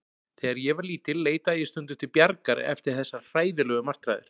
Þegar ég var lítil leitaði ég stundum til Bjargar eftir þessar hræðilegu martraðir.